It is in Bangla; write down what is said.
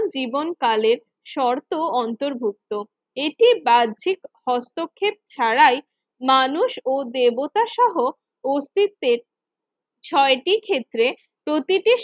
জীবনকালের শর্ত অন্তর্ভুক্ত। এটি বাহ্যিক হস্তক্ষেপ ছাড়াই মানুষ ও দেবতা সহ অস্তিত্বের ছয়টি ক্ষেত্রে প্রতিটি